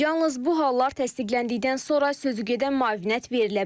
Yalnız bu hallar təsdiqləndikdən sonra sözügedən müavinət verilə bilər.